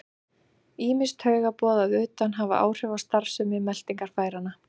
Ýmis taugaboð að utan hafa áhrif á starfsemi meltingarfæranna.